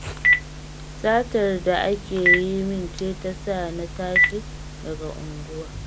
Satar da ake yi min ce ta sa na tashi daga unguwar